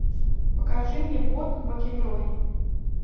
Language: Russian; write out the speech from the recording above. покажи мне борг макинрой